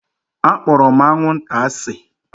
Akpọrọ m anwụnta asị